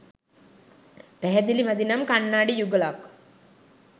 පැහැදිලි මදි නම් කන්නාඩි යුගලක්